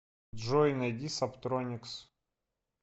джой найди сабтроникс